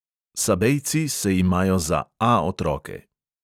Sabejci se imajo za A otroke.